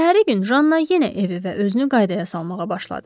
Səhəri gün Janna yenə evi və özünü qaydaya salmağa başladı.